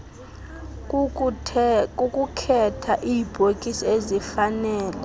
kukukhetha iibhokisi ezifanele